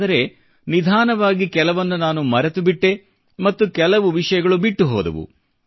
ಆದರೆ ನಿಧಾನವಾಗಿ ಕೆಲವನ್ನು ನಾನು ಮರೆತುಬಿಟ್ಟೆ ಮತ್ತೆ ಕೆಲವು ವಿಷಯಗಳು ಬಿಟ್ಟು ಹೋದವು